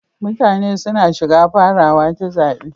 Mutane suna shiga farawa ta zaɓi.